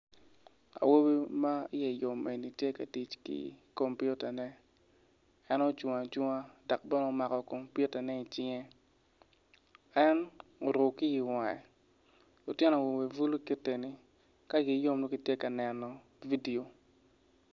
Awobi ma iye yom eni tye ka tic ki kompitane en ocung acunga dok bene omako kompitane i cinge en oruku kiyo i wange lutino awobe bulu kiti eni ka igi yom nongo gitye ka neno vidio.